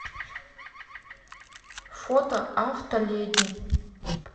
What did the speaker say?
фото автоледи